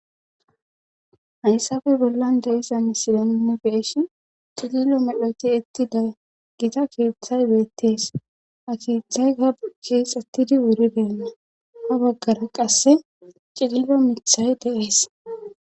hayssafe bollan deisa misilenini beeshi cililo medhoti itti daaggita keeththay beettees ha keethay gab keexettidi wuri beenna a baggara qasse cililo mithay deees